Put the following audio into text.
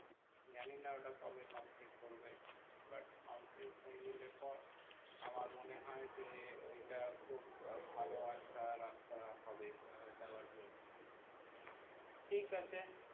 জানি না ওটা কবে complete করবে। complete হয়ে গেলে এর পর আমার মনে হয় যে ওইটা খুব ভালো একটা রাস্তা হবে আহ যাওয়ার জন্য ঠিক আছে